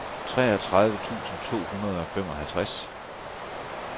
treogtredive tusind to hundrede og femoghalvtreds